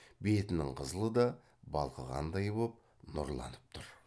бетінің қызылы да балқығандай боп нұрланып тұр